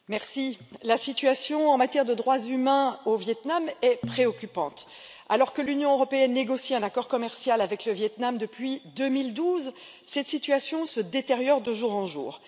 Monsieur le Président, la situation en matière de droits humains au Vietnam est préoccupante. Alors que l'Union européenne négocie un accord commercial avec le Vietnam depuis 2012, la situation se détériore de jour en jour.